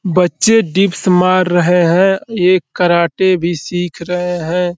बच्चे डिप्स मार रहे हैं। एक कराटे भी सीख रहे है हैं।